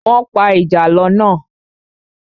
Wọ́n pa ìjàlọ́ náà.